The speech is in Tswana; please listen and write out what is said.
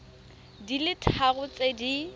di le tharo tse di